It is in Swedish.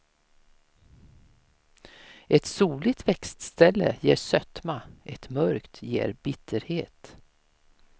Ett soligt växtställe ger sötma, ett mörkt ger bitterhet.